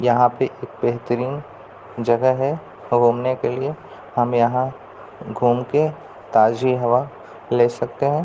यहाँ पे एक बेहतरीन जहग है घूमने के लिए हम यहाँ घूम के ताज़ी हवा ले सकते हैं |